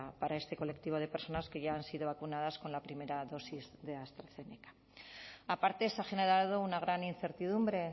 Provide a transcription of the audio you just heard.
para este colectivo de personas que ya han sido vacunadas con la primera dosis de astrazeneca aparte se ha generado una gran incertidumbre